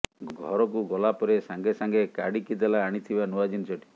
ଘରକୁ ଗଲା ପରେ ସାଙ୍ଗେ ସାଙ୍ଗେ କାଢ଼ିକି ଦେଲା ଆଣିଥିବା ନୂଆ ଜିନିଷଟି